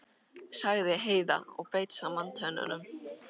sagði Heiða og beit saman tönnunum.